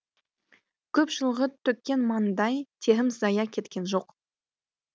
көп жылғы төккен маңдай терім зая кеткен жоқ